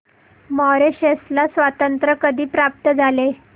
Mauritius ला स्वातंत्र्य कधी प्राप्त झाले